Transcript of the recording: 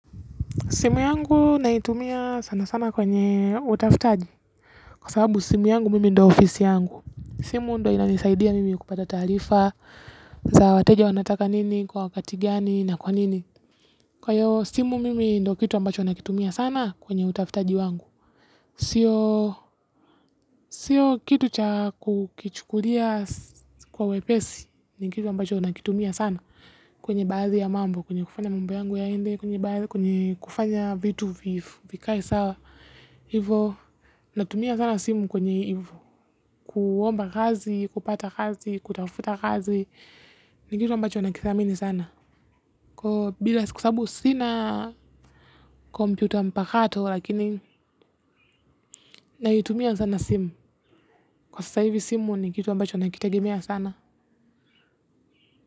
Simu yangu naitumia sana sana kwenye utafutaji kwa sababu simu yangu mimi ndyo ofisi yangu. Simu ndyo inanisaidia mimi kupata taarifa za wateja wanataka nini, kwa wakati gani na kwa nini. Kwa hiyo simu mimi ndyo kitu ambacho nakitumia sana kwenye utafutaji wangu sio sio kitu cha kukichukulia kwa wepesi ni kitu ambacho nakitumia sana kwenye baadhi ya mambo, kwenye kufanya mambo yangu yaende, kwenye kufanya vitu vikae sawa. Hivo, natumia sana simu kwenye hivo. Kuomba kazi, kupata kazi, kutafuta kazi. Ni kitu ambacho nakithamini sana. Kwa sababu sina kompyuta mpakato lakini naitumia sana simu kwa sasa hivi simu ni kitu ambacho nakitagemea sana.